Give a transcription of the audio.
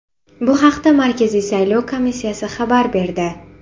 Bu haqda Markaziy saylov komissiyasi xabar berdi .